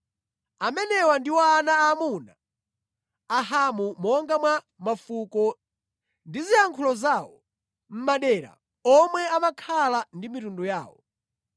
Amenewa ndiwo ana aamuna a Hamu monga mwa mafuko ndi ziyankhulo zawo, mʼmadera omwe amakhala ndi mitundu yawo.